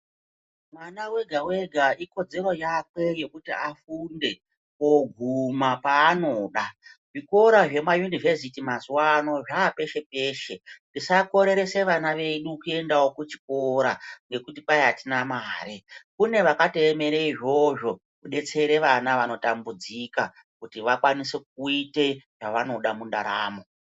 Mwana wega wega ikodzero yakwe yekuti afunde koguma paanoda. Zvikora zvema yunivhesiti mazuwano zvapeshe peshe, tisakoreresawo vana vedu kuenda kuchikora ngekuti kwai atina mare. Kune vakatoemera izvozvo kudetsere vana vanotambudzika kuti vakwanise kuita zvavanoda mundaramo.